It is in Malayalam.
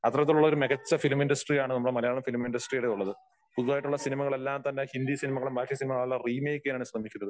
അത്തരത്തിലുള്ള ഒരു മികച്ച ഫിലിം ഇൻഡസ്ടറി ആണ് നമ്മടെ മലയാളം ഫിലിം ഇൻഡസ്ടറിയിൽ ഉള്ളത്. പുതിയതായിട്ടുള്ള എല്ലാ സിനിമകളും തന്നെ ഹിന്ദി സിനിമകളും ബാക്കി സിനിമകളും എല്ലാം റീമെയ്ക്ക് ചെയ്യാനാണ് ശ്രമിക്കുന്നത്.